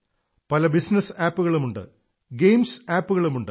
പല business app കളുമുണ്ട് games app കളുമുണ്ട്